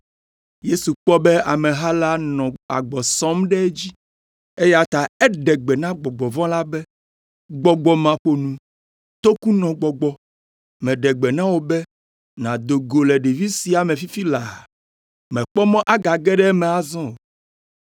Yesu kpɔ be ameha la nɔ agbɔ sɔm ɖe edzi, eya ta eɖe gbe na gbɔgbɔ vɔ̃ la be, “Gbɔgbɔ maƒonu, tokunɔ gbɔgbɔ, meɖe gbe na wò be, nàdo go le ɖevi sia me fifi laa, mèkpɔ mɔ agage ɖe eme azɔ o.”